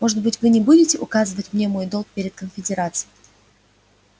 может быть вы не будете указывать мне мой долг перед конфедерацией